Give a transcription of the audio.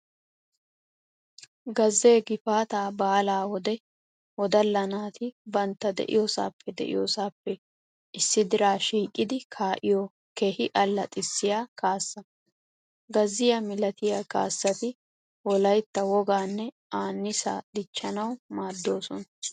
Gazzee gifaataa baalaa wode woddalla naati bantta de'iyoosaappe de'iyoosaappe issi diraa shiiqidi kaa'iyo keehi allaxxissiyaa kaassa. Gazziyaa milatiya kaassati Wolaytta wogaanne aanniisaa dichchanawu maaddoosona.